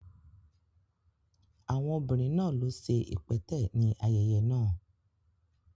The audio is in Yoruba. Àwọn obìnrin náà ló ṣe ipẹtẹ ní ayẹyẹ náà